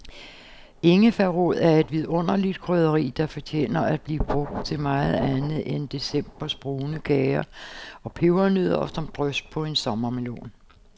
Ingefærrod er et vidunderligt krydderi, der fortjener at blive brugt til meget andet end decembers brune kager og pebernødder og som drys på en sommermelon.